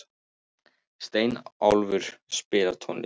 Steinólfur, spilaðu tónlist.